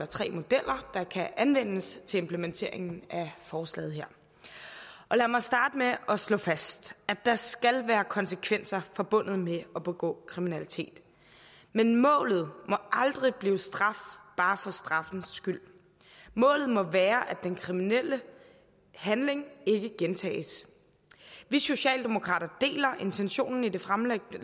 tre modeller der kan anvendes til implementeringen af forslaget her lad mig starte med at slå fast at der skal være konsekvenser forbundet med at begå kriminalitet men målet må aldrig blive straf bare for straffens skyld målet må være at den kriminelle handling ikke gentages vi socialdemokrater deler intentionen i det fremlagte